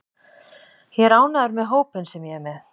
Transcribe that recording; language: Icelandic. Ég er ánægður með hópinn sem ég er með.